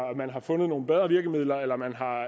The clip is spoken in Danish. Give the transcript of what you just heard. man har fundet nogle bedre virkemidler eller